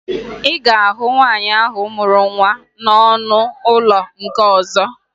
Ị ga-ahụ nwaanyị ahụ mụrụ nwa n'ọnụ ụlọ nke ọzọ